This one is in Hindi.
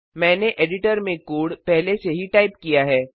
मैंने एडिटर में कोड पहले से ही टाइप किया है